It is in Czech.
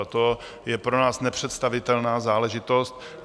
A to je pro nás nepředstavitelná záležitost.